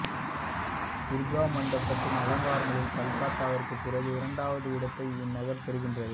துர்கா மண்டபத்தின் அலங்காரங்களில் கல்கத்தாவிற்கு பிறகு இரண்டாவது இடத்தை இந்நகர் பெறுகின்றது